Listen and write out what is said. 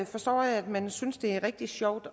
forstå at man synes det er rigtig sjovt